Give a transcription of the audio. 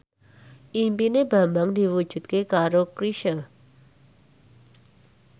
impine Bambang diwujudke karo Chrisye